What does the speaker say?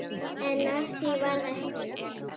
En af því varð ekki.